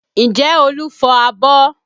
Ǹjẹ́ Olu fọ abọ́?